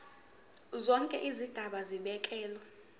zonke izigaba zibekelwe